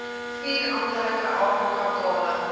vier amptelike afrikatale